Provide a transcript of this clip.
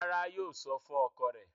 Rárá, yóò sọ fún ọkọ rẹ̀.